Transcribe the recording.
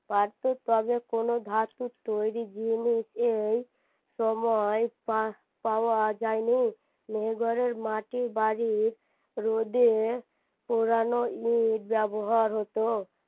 তবে কোনো ধাতুর তৈরী জিনিস এই সময়ে পাওয়া যায়নি মাহেরগড়ের মাটির বাড়ির রোদে পোড়ানো ইট ব্যবহার হতো